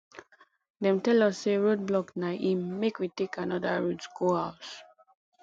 dem tell us sey road block na im make we take anoda route go house